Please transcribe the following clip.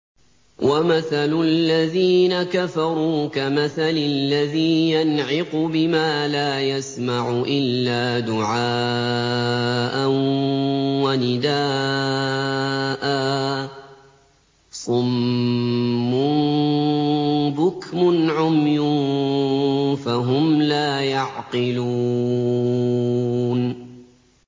وَمَثَلُ الَّذِينَ كَفَرُوا كَمَثَلِ الَّذِي يَنْعِقُ بِمَا لَا يَسْمَعُ إِلَّا دُعَاءً وَنِدَاءً ۚ صُمٌّ بُكْمٌ عُمْيٌ فَهُمْ لَا يَعْقِلُونَ